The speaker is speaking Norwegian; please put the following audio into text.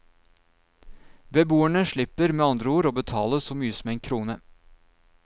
Beboerne slipper med andre ord å betale så mye som en krone.